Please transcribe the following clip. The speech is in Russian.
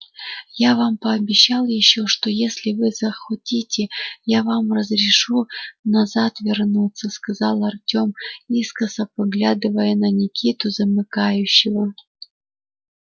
я вам пообещал ещё что если вы захотите я вам разрешу назад вернуться сказал артем искоса поглядывая на никиту-замыкающего